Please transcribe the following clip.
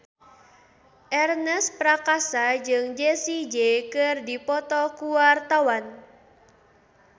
Ernest Prakasa jeung Jessie J keur dipoto ku wartawan